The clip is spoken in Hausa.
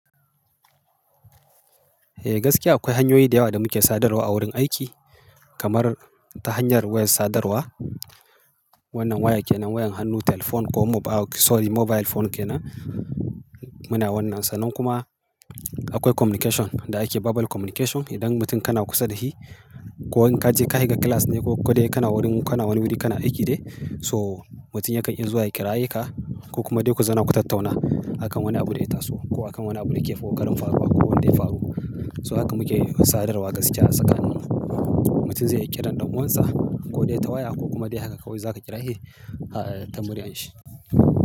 Eh gaskiya akwai hanyoyi da yawa da muke sadarwa a wurin aiki kamar ta hanyar wayar sadarwa. Wannan waya kenan wayan hannu telephone ko mobile sorry mobile phone kenan muna wannan sa. Nan kuma akwai communication da ake verbal communication. Idan mutum kana kusa da shi ko in ka ce ka shiga class ne ko ko dai kana wurin kana wani wuri kana aiki ne so mutum yakan iya zuwa ya kiraya ka ko kuma dai ku zauna ku tattauna a kan wani abu da ya taso ko a kan wani abu da yake ko karin faruwa ko wanda ya faru. So haka muke sadarwa gaskiya a tsakanin mu mutum zai iya kiran ɗan uwansa ko dai ta waya ko kuma dai haka kawai za ka kira, "shi ta muriyan shi."